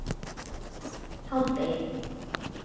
hádegi